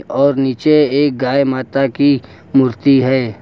और नीचे एक गाय माता की मूर्ति है।